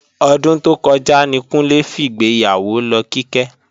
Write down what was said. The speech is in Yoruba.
Ọdún tó kọjá ní Kúnlé fìgbéyàwó lọ Kíkẹ́